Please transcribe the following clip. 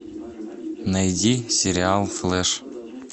найди сериал флэш